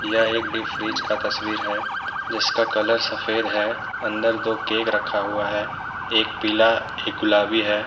यह एक deep fridge का तस्वीर है जिसका कलर सफेद है अंदर दो केक रखा हुआ है एक पीला एक गुलाबी है।